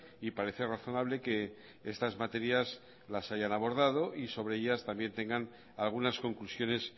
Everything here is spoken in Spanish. y parece razonable que estas materias las hayan abordado y sobre ellas también tengan algunas conclusiones